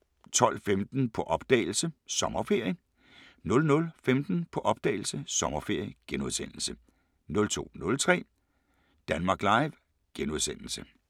12:15: På opdagelse – Sommerferie 00:15: På opdagelse – Sommerferie * 02:03: Danmark Live *